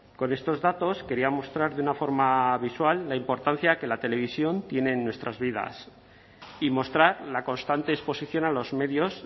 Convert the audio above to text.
con estos datos quería mostrar de una forma visual la importancia que la televisión tiene en nuestras vidas y mostrar la constante exposición a los medios